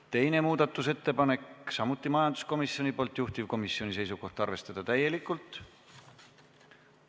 Teine muudatusettepanek, samuti majanduskomisjonilt, juhtivkomisjoni seisukoht: arvestada täielikult.